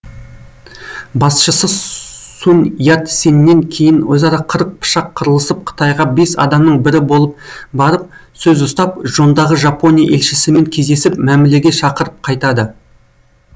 басшысы сун ят сеннен кейін өзара қырық пышақ қырылысып қытайға бес адамның бірі болып барып сөз ұстап жондағы жапония елшісімен кездесіп мәмілеге шақырып қайтады